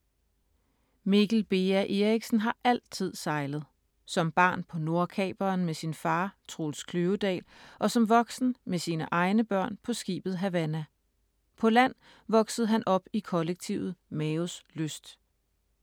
Mikkel Beha Erichsen har altid sejlet. Som barn på Nordkaperen med sin far, Troels Kløvedal, og som voksen med sine egne børn på skibet Havana. På land voksede han op i kollektivet Maos Lyst.